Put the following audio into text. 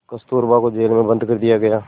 कस्तूरबा को जेल में बंद कर दिया गया